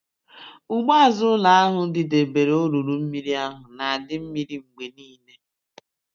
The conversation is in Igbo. Ugbo azụ ụlọ ahụ didebere olulu mmiri ahụ na-adị mmiri mgbe niile.